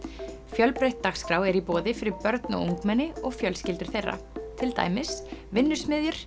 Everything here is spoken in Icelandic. fjölbreytt dagskrá er í boði fyrir börn og ungmenni og fjölskyldur þeirra til dæmis